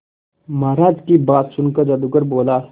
महाराज की बात सुनकर जादूगर बोला